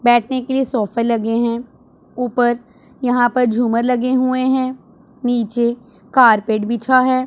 बैठने के लिए सोफे लगे हैं ऊपर यहां पर झूमर लगे हुए हैं नीचे कारपेट बिछा है।